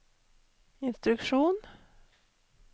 instruksjon